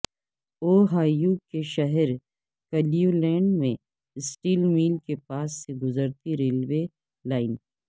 Ohio کے شہر Cleveland میں سٹیل مل کے پاس سے گزرتی ریلوے لائن